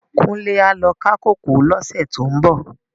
Kunle á lò ká kókòó lòsè tó n bò